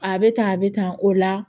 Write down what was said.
A bɛ tan a bɛ tan o la